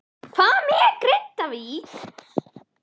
Hvað með Grindavík?